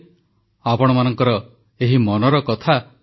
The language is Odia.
ଏହି ମନ୍ କି ବାତ୍ ପାଇଁ ଆସିଥିବା ପରାମର୍ଶ ଫୋନକଲ ସଂଖ୍ୟା ଅନ୍ୟ ଥର ଠାରୁ ବହୁଗୁଣ ଅଧିକ